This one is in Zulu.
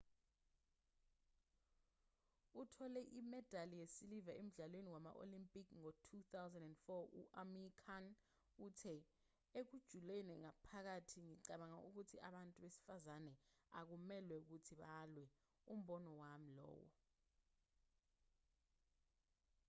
othole imedali yesiliva emdlalweni wama-olimpiki ngo-2004 u-amir khan uthe ekujuleni ngaphakathi ngicabanga ukuthi abantu besifazane akumelwe ukuthi balwe umbono wami lowo